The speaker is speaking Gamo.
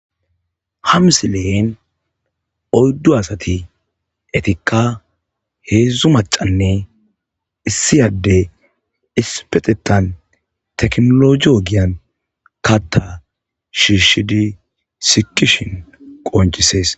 ha msile7en oyddu asati etikka heedzdzu macanne issiyadde ispexetan teknoloji ogiyan katta shiishidi sikishin qoncisees